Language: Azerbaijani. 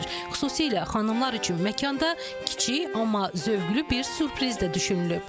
Xüsusilə xanımlar üçün məkanda kiçik, amma zövqlü bir sürpriz də düşünülüb.